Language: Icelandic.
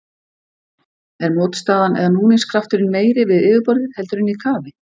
Er mótstaðan eða núningskrafturinn meiri við yfirborðið, heldur en í kafi?